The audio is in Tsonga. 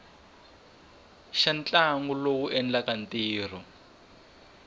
xa ntlawa lowu endlaka ntirho